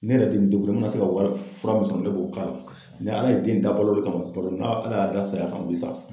Ne yɛrɛ bɛ n ma na se ka wari fura min sɔrɔ ne b'o k'a la; kosɛbɛ; ni ala ye den da balo de kama a bɛ balo, n ala y'a da saya kama a bi sa.